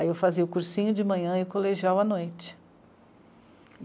Aí eu fazia o cursinho de manhã e o colegial à noite.